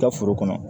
Ka foro kɔnɔ